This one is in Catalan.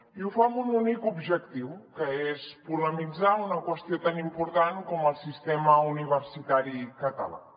i ho fa amb un únic objectiu que és polemitzar sobre una qüestió tan important com el sistema universitari català